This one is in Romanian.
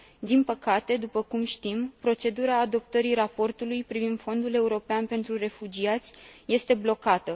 Din păcate, după cum știm, procedura adoptării raportului privind Fondul european pentru refugiați este blocată.